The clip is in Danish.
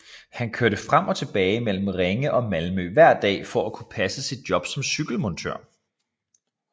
Han kørte frem og tilbage mellem Ringe og Malmø hver dag for at kunne passe sit job som cykelmontør